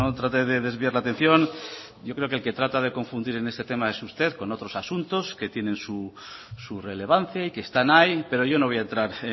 trate de desviar la atención yo creo que el que trata de confundir en este tema es usted con otros asuntos que tienen su relevancia y que están ahí pero yo no voy a entrar